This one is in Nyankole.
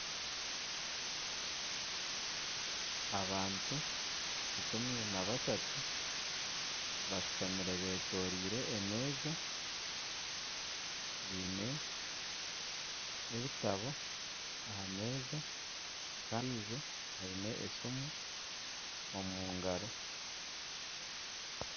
abantu ikumi n'abashatu bashutamire beetooreire emeeza biine ebitabo aha meeza kandi ondiijo aine esiimu omu ngaaro